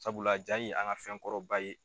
Sabula jaa ye an ka fɛn kɔrɔ ba ye.